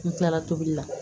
N kilala tobili la